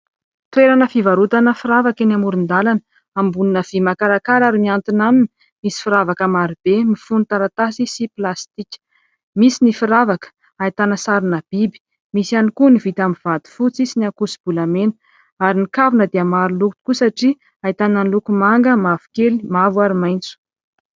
Toerana fivarotana firavaka eny amoron-dalana ambonina vy makarakara ary miantona aminy misy firavaka maro be mifono taratasy sy plastika. Misy ny firavaka ahitana sarina biby misy ihany koa ny vita amin'ny vato fotsy sy ny ankoso-bolamena ary ny kavina dia maro loko tokoa satria ahitana loko manga mavokely mavo ary maitso.